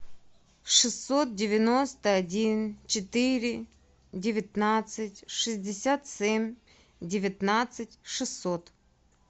шестьсот девяносто один четыре девятнадцать шестьдесят семь девятнадцать шестьсот